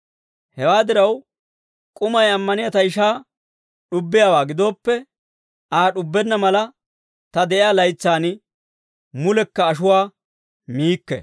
Hewaa diraw, k'umay ammaniyaa ta ishaa d'ubbiyaawaa gidooppe, Aa d'ubbenna mala, ta de'iyaa laytsaan mulekka ashuwaa miikke.